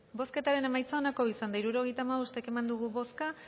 bozketaren emaitza onako izan da hirurogeita hamabost eman dugu bozka